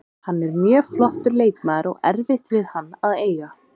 Hann er mjög flottur leikmaður og erfitt við hann að eiga.